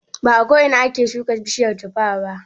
Ba a ko ina ake shuka bishiyar tuffa ba.